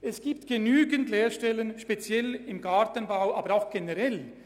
Es gibt genügend Lehrstellen, speziell im Gartenbau, aber auch generell.